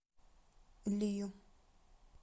лию